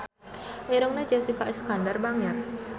Irungna Jessica Iskandar bangir